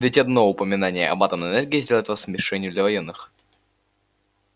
ведь одно упоминание об атомной энергии сделает вас мишенью для военных